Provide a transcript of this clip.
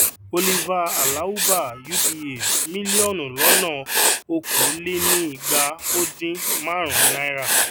oliver alawuba uba mílíọnù lọnà okòólénígbaódin márùnún náírà